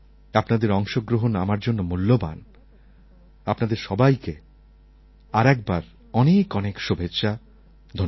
আপনাদের অংশগ্রহণ আমার জন্য মূল্যবান আপনাদের সবাইকে আর একবার অনেক অনেক শুভেচ্ছা ধন্যবাদ